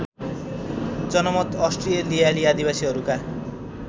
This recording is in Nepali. जनमत अस्ट्रेलियाली आदिवासीहरूका